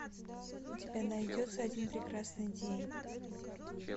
у тебя найдется один прекрасный день